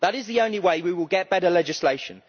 That is the only way we will get better legislation.